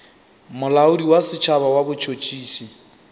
molaodi wa setšhaba wa botšhotšhisi